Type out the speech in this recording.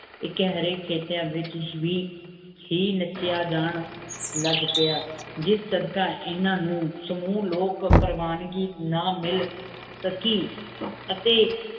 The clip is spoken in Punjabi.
ਏਕ ਹੇਰਕ ਖਿਤਾਂ ਵੇਚ ਸ਼ਾਵੇਈ ਹੀ ਨਾਚੇਯਾ ਜਾਨ ਲਘ ਪਰ ਜਸ ਸੜਕੀ ਏਨਾ ਨੂ ਸਮੁੰ ਲੋਗ ਪੇਰ੍ਵਾਮਨ ਕੀ ਨਾਮਿਲ ਸਕੀ ਅਤੀ